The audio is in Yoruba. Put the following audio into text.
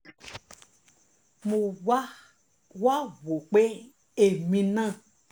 mo wá wá wò ó pé èmi náà um